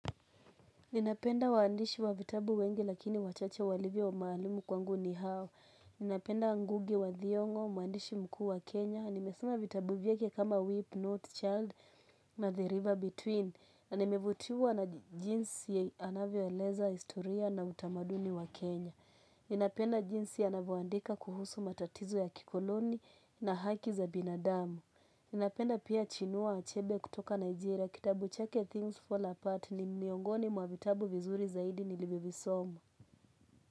Ninapenda waandishi wa vitabu wengi lakini wachache walivyo maalumu kwangu ni hao. Ninapenda ngugi wa thiongo, mwandishi mkuu wa Kenya. Nimesoma vitabu vyake kama Weep Not Child na The River Between. Na nimevutiwa na jinsi anavyoeleza, historia na utamaduni wa Kenya. Ninapenda jinsi anavoandika kuhusu matatizo ya kikoloni na haki za binadamu. Ninapenda pia chinua achebe kutoka Nigeria kitabu chake things fall apart ni miongoni mwa vitabu vizuri zaidi nilivyovisoma.